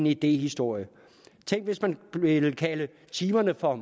idéhistorie tænk hvis man ville kalde timerne for